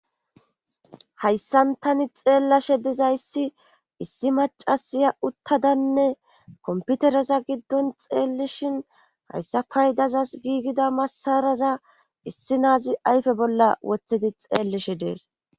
Hayssan tani xeellashe dizayssi issi macasiya uttadanne komputereza giddon xeellishin hayssa paydazas giigida masaraza issi naazi ayfe bolla wothedi xeellishe dees.